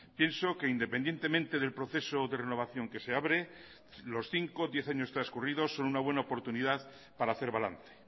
pienso que independientemente del proceso o de renovación que se abre los cinco diez años transcurridos son una buena oportunidad para hacer balance